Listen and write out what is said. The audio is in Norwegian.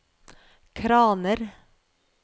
kraner